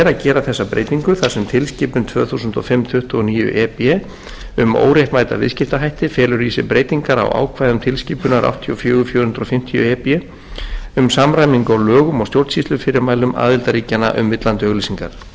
gera þessa breytingu þar sem tilskipun tvö þúsund og fimm tuttugu og níu e b um óréttmæta viðskiptahætti felur í sér breytingar á ákvæðum tilskipunar áttatíu og fjögur fjögur hundruð fimmtíu e b um samræmingu á lögum og stjórnsýslufyrirmælum aðildarríkjanna um villandi auglýsingar virðulegi